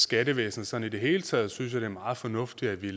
skattevæsenet sådan i det hele taget synes det er meget fornuftigt at vi